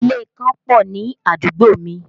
Ilé ìkan pọ̀ ní àdúgbò mi